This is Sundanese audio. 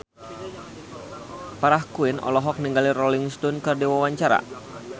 Farah Quinn olohok ningali Rolling Stone keur diwawancara